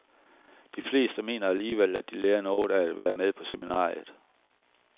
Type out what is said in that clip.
De fleste mener alligevel, at de lærer noget af at være med på seminariet.